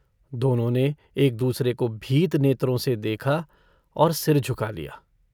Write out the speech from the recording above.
दोनों ने एक-दूसरे को भीत नेत्रों से देखा और सिर झुका लिया।